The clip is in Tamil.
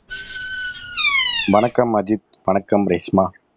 வணக்கம் அஜித் வணக்கம் ரேஷ்மா